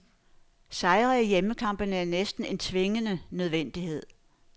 Sejre i hjemmekampene er næsten en tvingende nødvendighed.